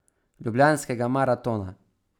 Ljubljanskega maratona.